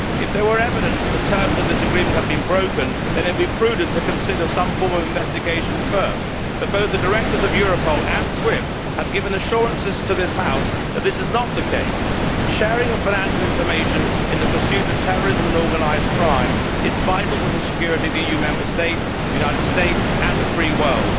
If there were evidence that the terms of this agreement had been broken, it would be prudent to consider some form of investigation first, but the directors of both Europol and SWIFT have given assurances to this House that this is not the case. The sharing of financial information in the pursuit of terrorism and organised crime is vital to the security of EU Member States, the United States and the free world.